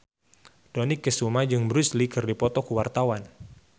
Dony Kesuma jeung Bruce Lee keur dipoto ku wartawan